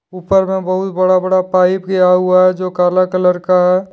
ऊपर में बहुत बड़ा बड़ा पाइप गया हुआ है जो काला कलर का है।